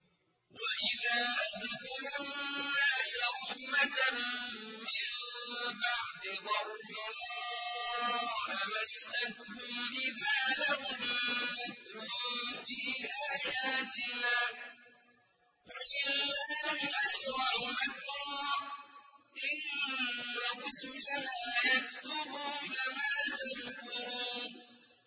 وَإِذَا أَذَقْنَا النَّاسَ رَحْمَةً مِّن بَعْدِ ضَرَّاءَ مَسَّتْهُمْ إِذَا لَهُم مَّكْرٌ فِي آيَاتِنَا ۚ قُلِ اللَّهُ أَسْرَعُ مَكْرًا ۚ إِنَّ رُسُلَنَا يَكْتُبُونَ مَا تَمْكُرُونَ